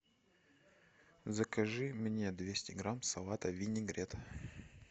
закажи мне двести грамм салата винегрет